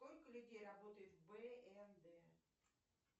сколько людей работает в бнд